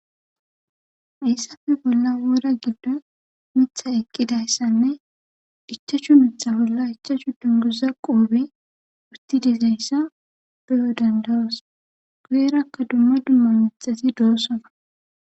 hayssafe bolla wora giddo mitha eqqidayssanne ichachu mitha bolla ichachu dunguza qoobe urti dizayssa beyo dandayoos guyerakka dumma dumma mixasi doossona